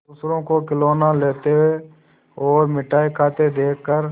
दूसरों को खिलौना लेते और मिठाई खाते देखकर